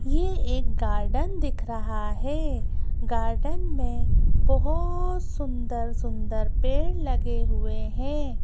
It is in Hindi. ये एक गार्डन दिख रहा है गार्डन में बहुत सुंदर- सुंदर पेड़ लगे हुए हैं।